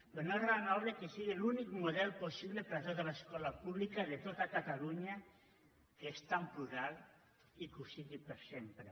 però no és raonable que sigui l’únic model possible per a tota l’escola pública de tot catalunya que és tan plural i que ho sigui per sempre